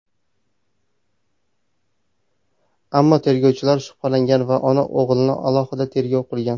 Ammo tergovchilar shubhalangan va ona-o‘g‘ilni alohida tergov qilgan.